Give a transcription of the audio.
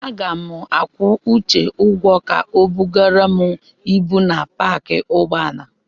Aga m akwụ Uche ụgwọ ka o bugara m ibu na paakị ụgbọala.